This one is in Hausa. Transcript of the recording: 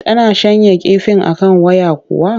Tana shanya kifin a kan waya kuwa?